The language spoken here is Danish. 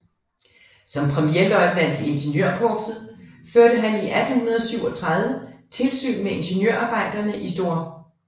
Som premierløjtnant i ingeniørkorpset førte han i 1837 tilsyn med ingeniørarbejderne i St